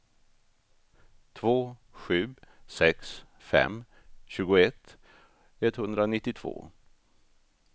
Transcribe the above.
två sju sex fem tjugoett etthundranittiotvå